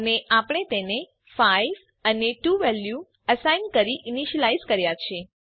અને આપણે તેને 5 અને 2 વેલ્યુ અસાઇન કરી ઈનીશ્યલાઈઝ કર્યા છે